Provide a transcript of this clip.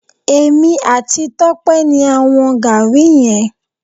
Èmi àti Tọ́pẹ́ ni a wọn Gaàrí yẹn.